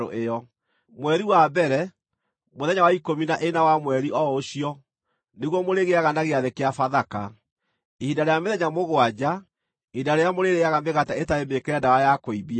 “ ‘Mweri wa mbere, mũthenya wa ikũmi na ĩna wa mweri o ũcio nĩguo mũrĩgĩaga na gĩathĩ kĩa Bathaka, ihinda rĩa mĩthenya mũgwanja, ihinda rĩrĩa mũrĩrĩĩaga mĩgate ĩtarĩ mĩĩkĩre ndawa ya kũimbia.